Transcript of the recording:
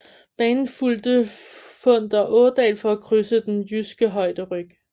Banen fulgte Funder Ådal for at krydse den jyske højderyg